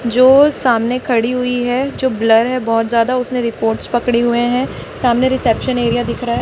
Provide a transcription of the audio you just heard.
जो सामने खड़ी हुई है जो ब्लर है बहोत ज्यादा उसने रिपोर्ट्स पकड़े हुए हैं सामने रिसेप्शन एरिया दिख रहा--